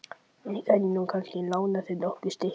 Ég gæti nú kannski lánað þér nokkur stykki.